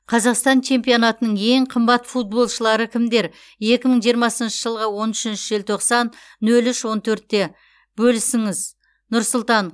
қазақстан чемпионатының ең қымбат футболшылары кімдер екі мың жиырмасыншы жылғы он үшінші желтоқсан нөл үш он төртте бөлісіңіз нұр сұлтан